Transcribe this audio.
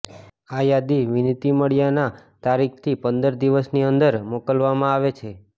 આ યાદી વિનંતી મળ્યાના તારીખથી પંદર દિવસની અંદર મોકલવામાં આવે છે